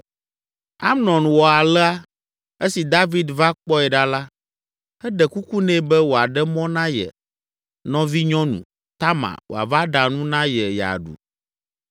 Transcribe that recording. Amnon wɔ alea. Esi David va kpɔe ɖa la, eɖe kuku nɛ be wòaɖe mɔ na ye nɔvinyɔnu, Tamar, wòava ɖa nu na ye yeaɖu.